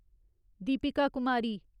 Deepika Kumari